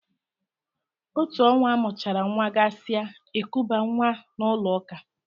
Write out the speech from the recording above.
Otú ọnwa amụchara nwa gasị a, ekubaa nwa n'ụlọ ụka.